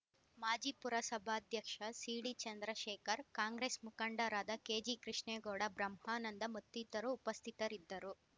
ಮಾಜಿ ಪುರಸಭಾಧ್ಯಕ್ಷ ಸಿಡಿ ಚಂದ್ರಶೇಖರ್ ಕಾಂಗ್ರೆಸ್ ಮುಖಂಡರಾದ ಕೆಜಿ ಕೃಷ್ಣೆಗೌಡ ಬ್ರಹ್ಮಾನಂದ ಮತ್ತಿತರರು ಉಪಸ್ಥಿತರಿದ್ದರು